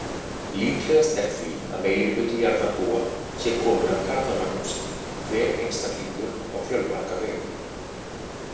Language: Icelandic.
Líklegast er því að meirihluti jarðarbúa sé kominn af Karlamagnúsi, hver einstaklingur á fjölmarga vegu.